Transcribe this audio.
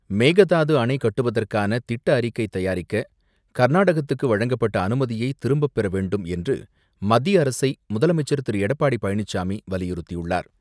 மேகதாது அணை கட்டுவதற்கான திட்ட அறிக்கை தயாரிக்க கர்நாடகத்துக்கு வழங்கப்பட்ட அனுமதியை திரும்பப்பெற வேண்டும் என்று மத்திய அரசை, முதலமைச்சர் திரு எடப்பாடி பழனிசாமி வலியுறுத்தியுள்ளார்.